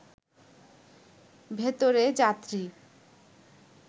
ভেতরে যাত্রী